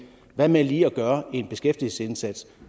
hvad med lige at gøre en beskæftigelsesindsats